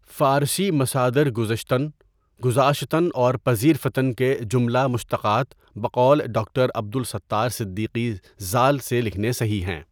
فارسی مصادر گذشتن، گذاشتن اور پذیرفتن کے جملہ مشتقات بقول ڈاکٹر عبد السّتار صدیقی ذال سے لکھنے صحیح ہیں.